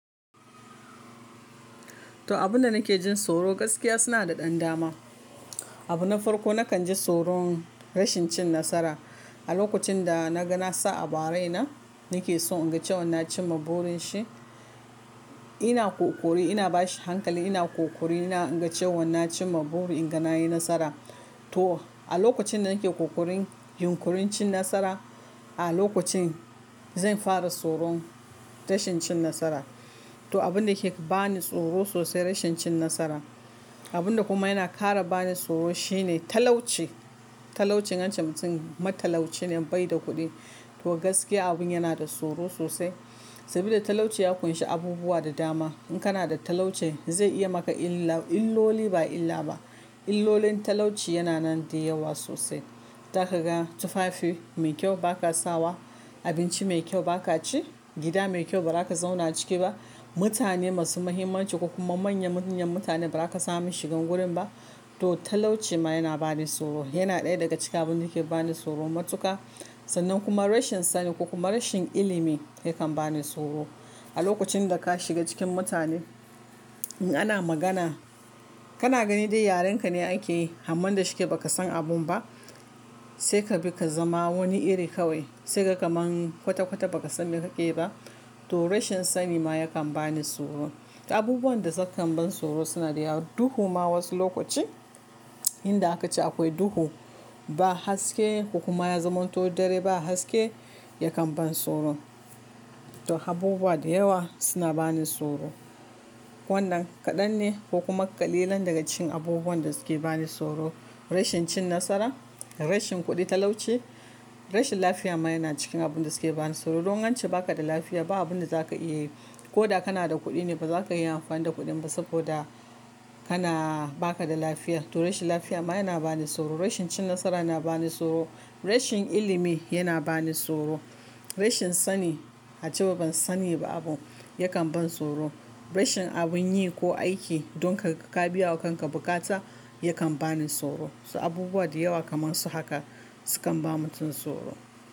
To, abun da nake jin tsoro gaskiya suna da ɗan dama. Abu na farko na kan ji tsoron rashin cin nasara. A lokacin da na ga na sa abu araina, nake so in ga na cimma burin shi. Ina ƙoƙari, ina bashi hankali, ina ƙoƙari, ina in ga cewan na ci maburi in ga na yi nasara. To, a lokacin da nake ƙoƙarin yunƙurin cin nasara, a lokacin zan fara tsoron rashin cin nasara. To, abun da yake bani tsoro sosai rashin cin nasara. Abun da kuma yana ƙara bani tsoro shine talauci. Talaucin in ance mutumin matalauci ne bai da kuɗi. To gaskiya abin yana da tsoro sosai. Saboda talauci ya ƙunshi abubuwa da dama. In kana da talauci zai iya maka illa-- illoli ba illa ba. Illolin talauci yana nan da yawa sosai. Zaka ga tufafi mai kyau ba ka sawa, abinci mai kyau ba ka ci, gida mai kyau ba za ka zauna a ciki ba, mutane masu muhimmanci ko kuma manyan mayan mutane ba za ka samu shigan gurin ba. To talauci ma yana bani tsoro. Yana ɗaya daga cikin abin da ke bani tsoro matuka. Sannan kuma rashin sani ko kuma rashin ilimi yakan bani tsoro. A lokacin da ka shiga cikin mutane, in ana magana, kana gani dai yarenka ne ake yi, amman da shike ba ka san abun ba. Sai ka bi ka zama wani iri kawai. Sai ka ga kaman kwata-kwata baka san me kaƙe yiba. To rashin sani ma yakan bani tsoro. Abubuwan da sukan ban tsoro suna da yawa. Duhu ma wasu lokaci, inda aka ce akwai duhu, ba haske ko kuma ya zama to dare ba haske, ya kan ban tsoro. To abubuwa da yawa suna bani tsoro. Wannan kaɗan ne ko kuma ƙalilan daga cikin abubuwan da suke bani tsoro. Rashin cin nasara, rashin kuɗi, talauci, rashin lafiya ma yana cikin abun da suke bani tsoro. Don in ance ba ka da lafiya ba abin da za ka iya yi. Ko da kana da kuɗi ne ba za ka iya amfani da kuɗin ba saboda kana-- ba ka da lafiya. To rashin lafiya ma yana bani tsoro. Rashin cin nasara na bani tsoro. Rashin ilimi yana bani tsoro. Rashin sani, a cewa ban sani ba abu, ya kan ban tsoro. Rashin abin yi ko aiki don ka ga ka biya wa kanka bukata ya kan bani tsoro. So abubuwa da yawa kamar su haka sukan ba mutum tsoro.